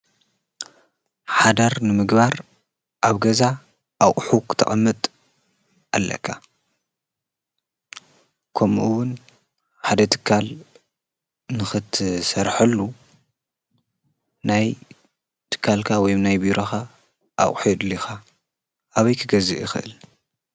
ሓዳር ንምግባር ኣብ ገዛ ኣቝኁ ተቐምጥ ኣለካ ከምኡውን ሓደ ትካል ንኽትሠርሐሉ ናይ ትካልካ ወይም ናይ ብረኻ ኣቝሒዱልኻ ኣበይ ክገዝ እኽእል።